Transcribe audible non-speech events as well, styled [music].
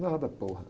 Nada. [unintelligible]